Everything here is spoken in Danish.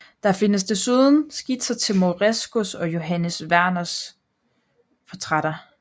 Der findes desuden skitser til Morescos og Johannes Werners portrætter